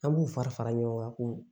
An b'u fara fara ɲɔgɔn kan ko